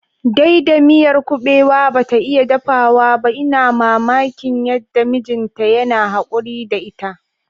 Daida miyar kubewa bata iya dafawa ba. ina mamaki yanda mijinta yana hakuri da ita